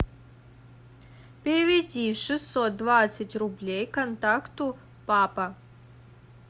переведи шестьсот двадцать рублей контакту папа